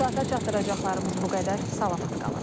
Bu saata çatdıracaqlarımız bu qədər, salamat qalın.